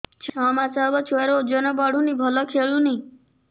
ଛଅ ମାସ ହବ ଛୁଆର ଓଜନ ବଢୁନି ଭଲ ଖେଳୁନି